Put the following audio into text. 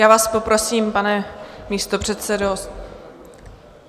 Já vás poprosím, pane místopředsedo.